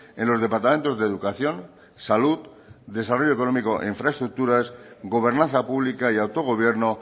en los departamentos de educación salud desarrollo económico e infraestructuras gobernanza pública y autogobierno